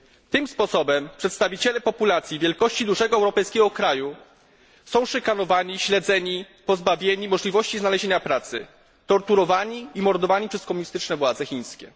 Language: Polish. Tym sposobem przedstawiciele populacji wielkości dużego europejskiego kraju są szykanowani, śledzeni, pozbawieni możliwości znalezienia pracy, torturowani i mordowani przez komunistyczne władze chińskie.